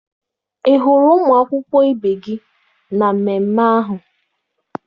Ị hụrụ ụmụ akwụkwọ ibe gị na mmemme ahụ?